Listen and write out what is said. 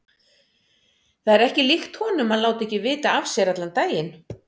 Það er ekki líkt honum að láta ekki vita af sér allan daginn.